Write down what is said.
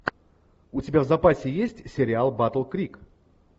у тебя в запасе есть сериал батл крик